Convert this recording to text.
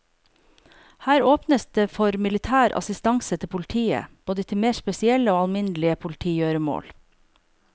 Her åpnes det for militær assistanse til politiet, både til mer spesielle og alminnelige politigjøremål.